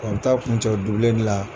Ɔ an bɛ taa kun cɛ li la.